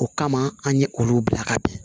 O kama an ye olu bila ka bin